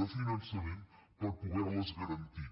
de finançament per poder les garantir